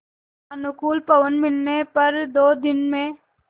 अनुकूल पवन मिलने पर दो दिन में